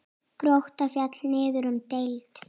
Grótta féll niður um deild.